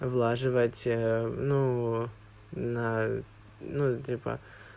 влаживать ну на ну типа